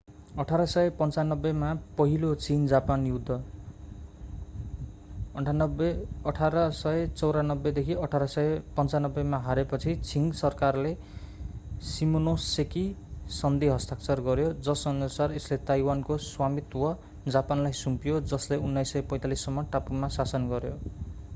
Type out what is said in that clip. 1895 मा पहिलो चीन-जापान युद्ध 1894-1895 मा हारेपछि छिङ सरकारले सिमोनोसेकी सन्धी हस्ताक्षर गर्‍यो जसअनुसार यसले ताइवानको स्वामित्व जापानलाई सुम्पियो जसले 1945 सम्म टापुमा शासन गर्‍यो।